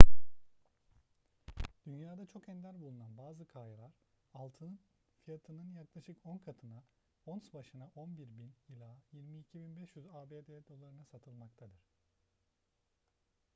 dünyada çok ender bulunan bazı kayalar altının fiyatının yaklaşık on katına ons başına 11.000 ila 22.500 abd dolarına satılmaktadır